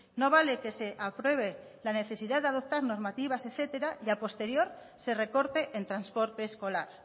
no vale que se apruebe la necesidad de adoptar normativas etcétera y a posterior se recorte en transporte escolar